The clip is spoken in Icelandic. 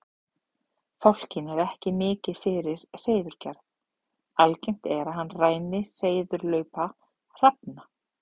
Fálkinn er ekki mikið fyrir hreiðurgerð, algengt er að hann ræni hreiðurlaupa hrafna.